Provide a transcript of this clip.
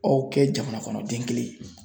Aw kɛ jamana kɔnɔ den kelen ye